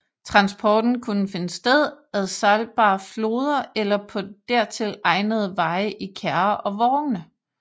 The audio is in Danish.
Transporten kunne finde sted ad sejlbare floder eller på dertil egnede veje i kærrer og vogne